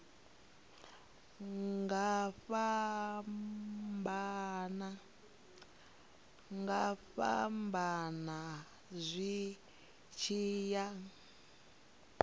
nga fhambana zwi tshi ya